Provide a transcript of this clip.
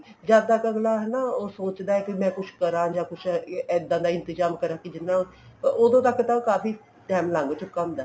ਜਦ ਤੱਕ ਅਗਲਾ ਹਨਾ ਉਹ ਸੋਚਦਾ ਹੈ ਕੇ ਮੈਂ ਕੁਛ ਕਰਾਂ ਜਾਂ ਕੁੱਝ ਇੱਦਾਂ ਦਾ ਇੰਤਜ਼ਾਮ ਕਰਾਂ ਉਦੋਂ ਤੱਕ ਤਾਂ ਕਾਫੀ time ਲੰਘ ਚੁੱਕਾ ਹੁੰਦਾ